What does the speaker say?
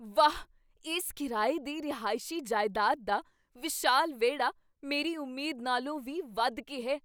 ਵਾਹ, ਇਸ ਕਿਰਾਏ ਦੀ ਰਿਹਾਇਸ਼ੀ ਜਾਇਦਾਦ ਦਾ ਵਿਸ਼ਾਲ ਵਿਹੜਾ ਮੇਰੀ ਉਮੀਦ ਨਾਲੋਂ ਵੀ ਵੱਧ ਕੇ ਹੈ!